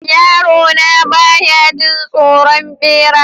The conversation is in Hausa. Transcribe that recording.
Yarona ba ya jin tsoron bera.